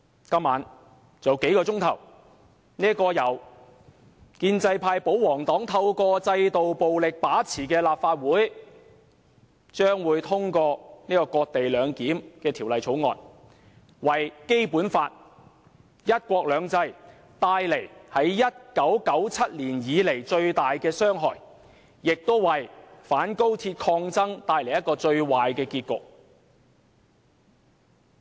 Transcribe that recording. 今晚，還有數小時，由建制派、保皇黨透過制度暴力來把持的立法會，將會通過這項"割地兩檢"的《條例草案》，對《基本法》和"一國兩制"造成自1997年來最大的傷害，亦為反高鐵抗爭帶來最壞的結局。